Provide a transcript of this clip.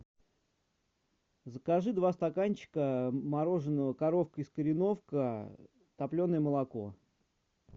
закажи два стаканчика мороженого коровка из кореновки топленое молоко